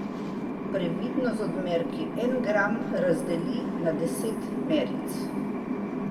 Previdno z odmerki, en gram razdeli na deset meric.